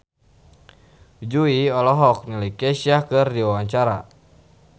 Jui olohok ningali Kesha keur diwawancara